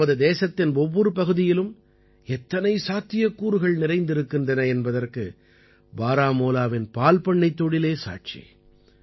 நமது தேசத்தின் ஒவ்வொரு பகுதியிலும் எத்தனை சாத்தியக்கூறுகள் நிறைந்திருக்கின்றன என்பதற்கு பாராமூலாவின் பால்பண்ணைத் தொழிலே சாட்சி